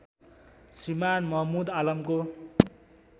Shriman Mahmud आलामको